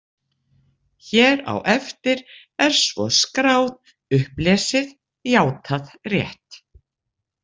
Hér á eftir er svo skráð: „Upplesið, játað rétt“